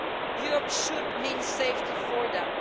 Europe should mean safety for them.